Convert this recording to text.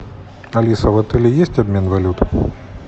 алиса в отеле есть обмен валюты